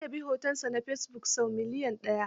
An yabi hotonsa na fesibuk sau milyan ɗaya.